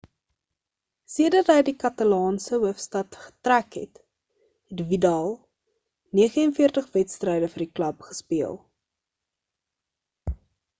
sedert hy na die katalaanse hoofstad getrek het het vidal 49 wedstryde vir die klub gespeel